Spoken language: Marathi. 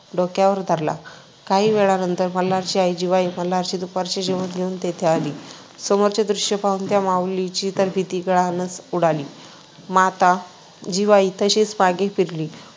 डोक्यावर धरला. काही वेळानंतर मल्हारची आई जिवाई मल्हारचे दुपारचे जेवण घेऊन तेथे आली. समोरचे दृश्य पाहून त्या माऊलीची तर भीतीने गाळणच उडाली. माता जिवाई तशीच मागे फिरली व